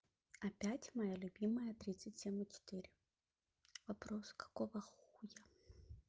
опять моя любимая тридцать семь и четыре вопрос какого хуя